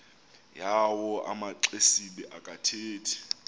yawo amaxesibe akathethi